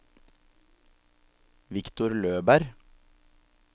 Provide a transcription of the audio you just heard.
Viktor Løberg